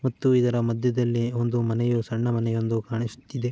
ಮತ್ತು ಇದರ ಮಧ್ಯದಲ್ಲಿ ಒಂದು ಮನೆಯು ಸಣ್ಣ ಮನೆಯೊಂದು ಕಾಣಿಸುತ್ತಿದೆ.